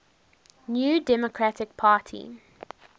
new democratic party